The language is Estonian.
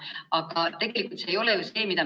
Aga tegelikult see ei ole ju see, mida me tahame.